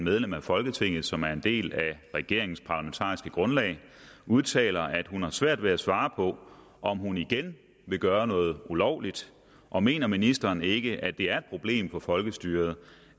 medlem af folketinget som er en del af regeringens parlamentariske grundlag udtaler at hun har svært ved at svare på om hun igen vil gøre noget ulovligt og mener ministeren ikke at det er et problem for folkestyret